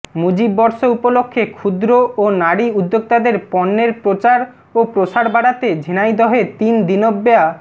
মুজিব বর্ষ উপলক্ষে ক্ষুদ্র ও নারী উদ্যোক্তাদের পণ্যের প্রচার ও প্রসার বাড়াতে ঝিনাইদহে তিন দিনব্যা